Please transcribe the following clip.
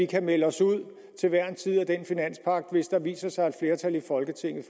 kan melde os ud af den finanspagt hvis der viser sig et flertal i folketinget